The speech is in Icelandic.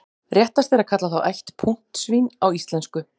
Réttast er að kalla þá ætt puntsvín á íslensku.